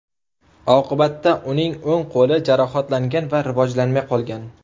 Oqibatda uning o‘ng qo‘li jarohatlangan va rivojlanmay qolgan.